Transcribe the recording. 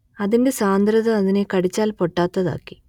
അതിന്റെ സാന്ദ്രത അതിനെ കടിച്ചാൽ പൊട്ടാത്തതാക്കി